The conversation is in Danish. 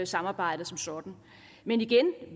samarbejdet som sådan men igen